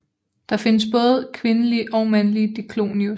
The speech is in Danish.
Der findes både kvindelige og mandlige Diclonius